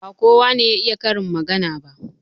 Ba kowa ne ya iya karin magana ba.